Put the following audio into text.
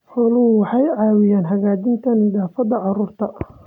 Xooluhu waxay caawiyaan hagaajinta nafaqada carruurta.